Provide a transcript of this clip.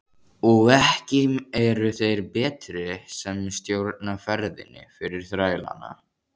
Og ekki eru þeir betri sem stjórna ferðinni fyrir þrælana.